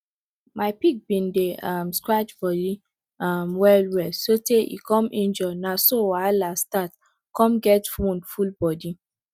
my pig been dey um scratch body um well well so tey e come injure na so wahala start come get wound full body